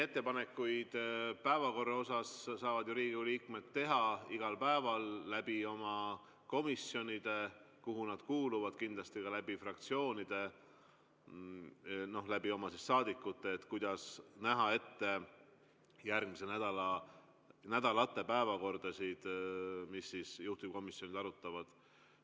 Ettepanekuid päevakorra kohta saavad Riigikogu liikmed teha iga päev oma komisjonide kaudu, kuhu nad kuuluvad, kindlasti ka fraktsioonide ja oma saadikute kaudu, kuidas näha ette järgmiste nädalate päevakordasid, mida juhtivkomisjonid arutavad.